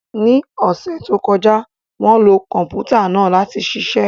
Ní ọ̀sẹ̀ tó kọjá, wọ́n lo Kọ̀m̀pútà náà láti ṣiṣẹ́